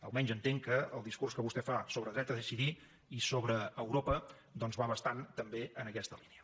almenys entenc que el discurs que vostè fa sobre dret a decidir i sobre europa doncs va bastant també en aquesta línia